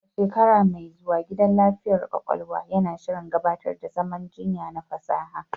A shekara mai zuwa, gidan lafiyar ƙwaƙwalwa yana shirin gabatar da zaman jinya na fasaha.